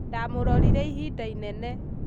ndamũrorire ihinda inene